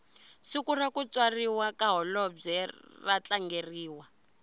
siku rakutswariwa kahholobwe ratlangeriwa